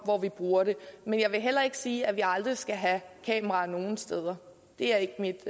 hvor vi bruger det men jeg vil heller ikke sige at vi aldrig skal have kameraer nogen steder det er ikke